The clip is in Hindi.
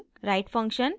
write function